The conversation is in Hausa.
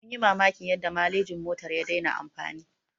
Mun yi mamakin yadda malejin motar ya dena amfani